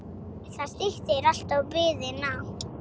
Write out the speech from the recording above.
Það styttir alltaf biðina.